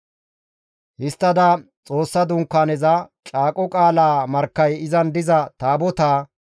Histtada Xoossa Dunkaaneza, Caaqo qaalaa markkay izan diza Taabotaa,